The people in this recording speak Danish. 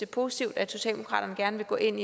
positivt at socialdemokratiet gerne vil gå ind